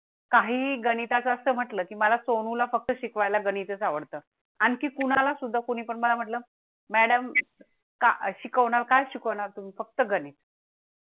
काही गणिता चं असं म्हटलं की मला सोनू ला फक्त शिकवाय ला गणितच आवडतं. आणखी कुणाला सुद्धा कोणी पण मला म्हटलं Madam का शिकवणार? काय शिकवणार तुम्ही फक्त गणित